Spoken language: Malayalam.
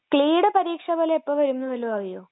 ക്‌ളീ ട പരീക്ഷാഫലം എപ്പോ വരും നു വല്ലോം അറിയുമോ?